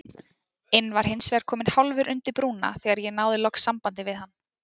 inn var hinsvegar kominn hálfur undir brúna þegar ég náði loks sambandi við hann.